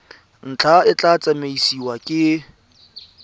ntlha e tla tsamaisiwa ke